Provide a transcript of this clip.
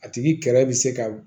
A tigi kɛrɛ bɛ se ka